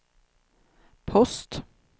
post